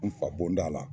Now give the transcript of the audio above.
N fa bɔnda la